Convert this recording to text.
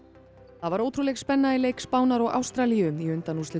það var ótrúleg spenna í leik Spánar og Ástralíu í undanúrslitum